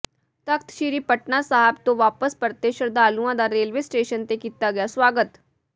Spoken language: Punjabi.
ਤਖ਼ਤ ਸ਼੍ਰੀ ਪਟਨਾ ਸਾਹਿਬ ਤੋਂ ਵਾਪਸ ਪਰਤੇ ਸ਼ਰਧਾਲੂਆਂ ਦਾ ਰੇਲਵੇ ਸਟੇਸ਼ਨ ਤੇ ਕੀਤਾ ਗਿਆ ਸਵਾਗਤ